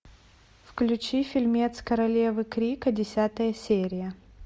включи фильмец королевы крика десятая серия